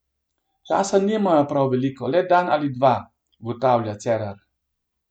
Časa nimajo prav veliko le dan ali dva, ugotavlja Cerar.